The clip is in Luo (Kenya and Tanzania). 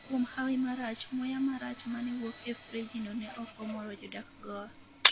kuom hawi marach muya marach mane wuok e frejino ne ok omoro jodak goa